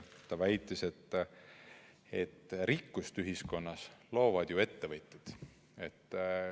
Ta väitis, et rikkust ühiskonnas loovad ju ettevõtjad.